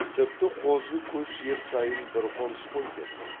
тіпті қозы көш жер сайын бір қоныс қой деді